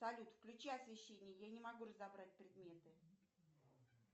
салют включи освещение я не могу разобрать предметы